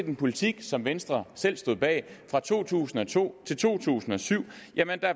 en politik som venstre selv stod bag fra to tusind og to til to tusind og syv